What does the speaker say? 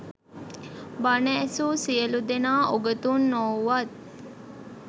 බණ ඇසු සියලු දෙනා උගතුන් නොවුවත්